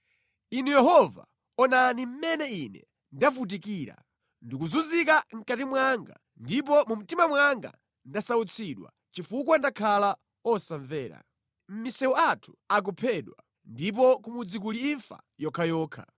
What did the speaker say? “Inu Yehova, onani mmene ine ndavutikira! Ndikuzunzika mʼkati mwanga, ndipo mu mtima mwanga ndasautsidwa chifukwa ndakhala osamvera. Mʼmisewu anthu akuphedwa, ndipo ku mudzi kuli imfa yokhayokha.